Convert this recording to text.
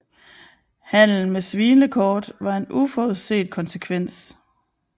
Handelen med svinekort var en uforudset konsekvens